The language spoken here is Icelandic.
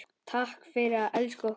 Takk fyrir að elska okkur.